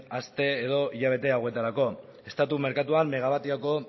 aste edo hilabete hauetarako estatu merkatuan megabatio